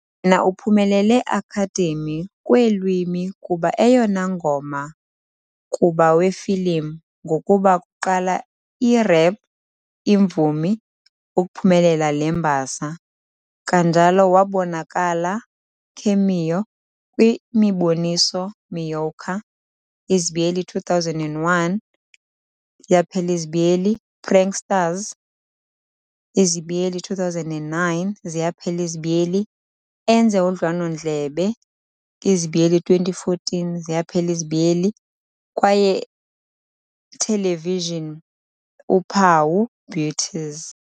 na uphumelele Academy kweelwimi kuba eyona ngoma kuba wefilim, ngokuba kuqala i-rap imvumi ukuphumelela le mbasa. Kanjalo wabonakala cameo kwi-imiboniso "Moika "izibiyeli 2001 ziyaphela izibiyeli" Pranksters "izibiyeli 2009 ziyaphela izibiyeli" enze udliwano-ndlebe "izibiyeli 2014 ziyaphela izibiyeli, kwaye lwethelevijini uphawu "Beauties".